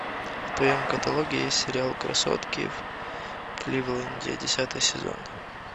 в твоем каталоге есть сериал красотки в кливленде десятый сезон